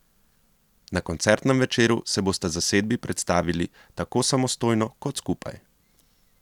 Na koncertnem večeru se bosta zasedbi predstavili tako samostojno kot skupaj.